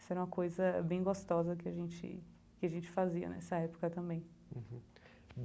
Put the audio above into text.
Isso era uma coisa bem gostosa que a gente que a gente fazia nessa época também uhum.